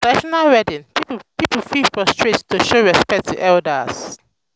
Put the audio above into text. for traditional wedding pipo fit prostrate to show respect to elders